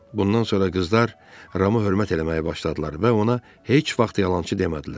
Bundan sonra qızlar Ramı hörmət eləməyə başladılar və ona heç vaxt yalançı demədilər.